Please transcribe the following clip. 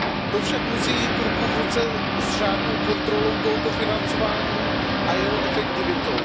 To však musí jít ruku v ruce s řádnou kontrolou tohoto financování a jeho efektivitou.